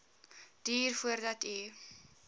duur voordat u